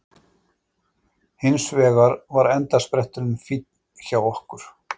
Hins vegar var endaspretturinn finn hjá okkur